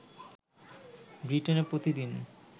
ব্রিটেনে প্রতিদিন